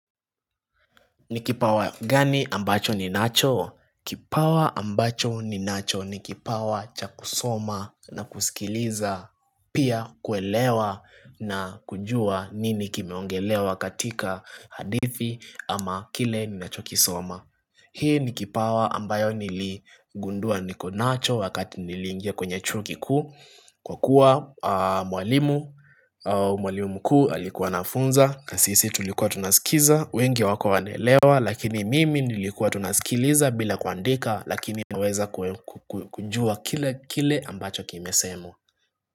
Ni kipawa gani ambacho ninacho? Kipawa ambacho ninacho ni kipawa cha kusoma na kusikiliza pia kuelewa na kujua nini kimeongelewa katika hadithi ama kile ninachokisoma Hii ni kipawa ambayo niligundua nikonacho wakati niliingia kwenye chuo kikuu Kwa kuwa mwalimu mkuu alikuwa anafunza na sisi tulikuwa tunaskiza, wengi hawakuwa wanelewa, lakini mimi nilikuwa tu nasikiliza bila kuandika lakini naweza kujua kile kile ambacho kimesemwa.